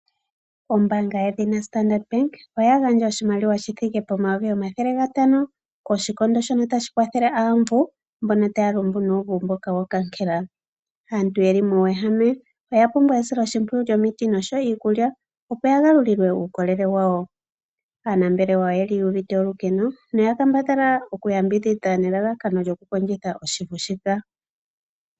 Ombaanga yedhina Starndart Bank oya gandja oshimaliwa shithike pomayovi omathele gatano koshikondo shono tashi kwathele aavu mbono taya lumbu nuuvu mboka wokangela. Aantu yeli muuwehame oya pumbwa esiloshimpwiyu nomiti noshowo iikulya opo yagalulilwe uukolele wawo. Aanambelewa oyeli yuuvite olukeno noya kambadhala okuyambidhidha nelalakano lyokukondjitha oshivu shika.